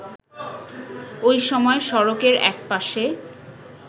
ওই সময় সড়কের একপাশে